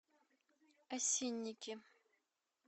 осинники